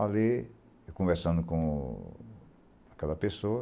Olhei, conversando com aquela pessoa.